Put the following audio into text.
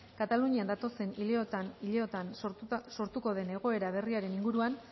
katalunian datozen hileotan sortuko den egoera berriaren inguruan